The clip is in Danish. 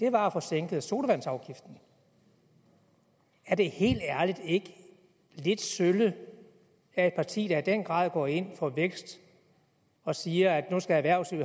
var at få sænket sodavandsafgiften er det ikke helt ærligt lidt sølle af et parti der i den grad går ind for vækst og siger at nu skal erhvervslivet